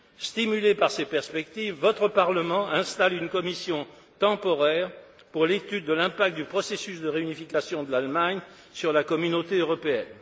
Stimulé par ces perspectives, votre Parlement installe une commission temporaire pour l'étude de l'impact du processus de réunification de l'Allemagne sur la Communauté européenne.